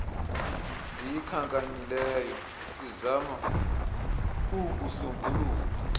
ndiyikhankanyileyo izama ukuusombulula